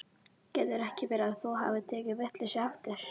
Getur ekki verið að þú hafir tekið vitlaust eftir?